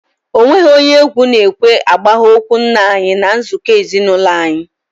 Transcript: Ọ nweghị onye egwu na ekwe agbaha okwu nna anyị n'nzuko ezinaụlọ anyi